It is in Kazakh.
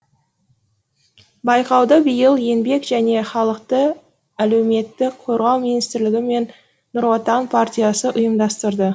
байқауды биыл еңбек және халықты әлеуметтік қорғау министрлігі мен нұр отан партиясы ұйымдастырды